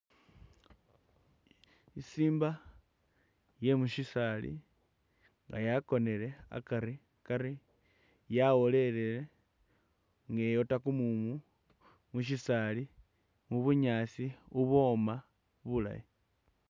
Isimba iye mushisali nga yakonele akari, yawolele nga iwora kumumu mushisali ,mubunyasi ibwoma bulayi .